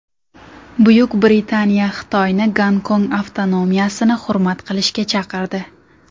Buyuk Britaniya Xitoyni Gonkong avtonomiyasini hurmat qilishga chaqirdi .